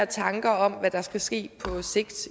tanker om hvad der skal ske på sigt